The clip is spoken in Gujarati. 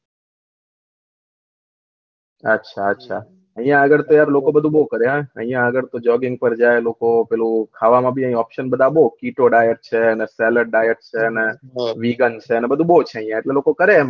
અચ્છા અચ્છા આયીયા આગળ તો યાર લોકો બધું કરે આયીયા આગળ ટોપ જોગ્ગીંગ માં જાય લોકો પેલું ખાવાનું ભી અયીયા ઓપ્ત્ન બધા બહુ કીચોડા ક્ષ્ક્ષ છે ને સેલેડ ડાયટ છે ને વિગેન છે અને બધું બહુ છે એટલે લોકો કરે તો